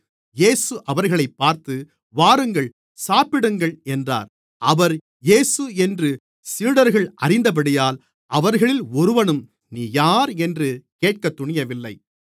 இயேசு அவர்களைப் பார்த்து வாருங்கள் சாப்பிடுங்கள் என்றார் அவர் இயேசு என்று சீடர்கள் அறிந்தபடியால் அவர்களில் ஒருவனும் நீர் யார் என்று கேட்கத் துணியவில்லை